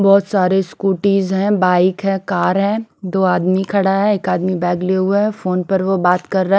बहोत सारे स्कूटीस है बाइक है कार है दो आदमी खड़ा है एक आदमी बेग लिए हुआ है फोन पर वो बात कर रहा है।